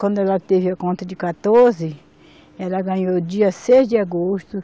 Quando ela teve a conta de quatorze, ela ganhou dia seis de agosto